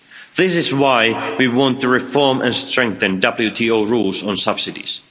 This is why we want to reform and strengthen WTO rules on subsidies.